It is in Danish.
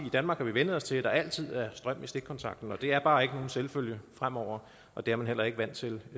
i danmark har vænnet os til at der altid er strøm i stikkontakten det er bare ikke nogen selvfølge fremover og det er man heller ikke vant til